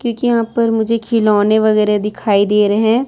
क्युंकी यहाँ पर मुझे खिलौने वगैरा दे रहे--